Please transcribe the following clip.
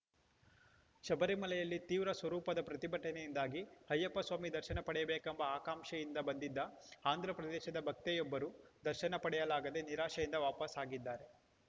ಶಬರಿಮಲೆಯಲ್ಲಿ ತೀವ್ರ ಸ್ವರೂಪದ ಪ್ರತಿಭಟನೆಯಿಂದಾಗಿ ಅಯ್ಯಪ್ಪಸ್ವಾಮಿ ದರ್ಶನ ಪಡೆಯಬೇಕೆಂಬ ಆಕಾಂಕ್ಷೆಯಿಂದ ಬಂದಿದ್ದ ಆಂಧ್ರಪ್ರದೇಶದ ಭಕ್ತೆಯೊಬ್ಬರು ದರ್ಶನ ಪಡೆಯಲಾಗದೇ ನಿರಾಶೆಯಿಂದ ವಾಪಸ್‌ ಆಗಿದ್ದಾರೆ